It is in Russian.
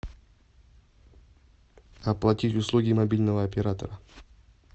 оплатить услуги мобильного оператора